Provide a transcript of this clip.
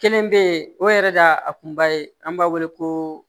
Kelen bɛ ye o yɛrɛ de y'a a kunba ye an b'a wele ko